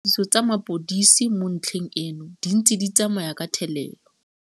Dipatlisiso tsa mapodisi mo ntlheng eno di ntse di tsamaya ka thelelo.